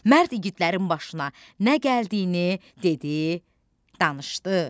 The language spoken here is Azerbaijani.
Mərd igidlərin başına nə gəldiyini dedi, danışdı.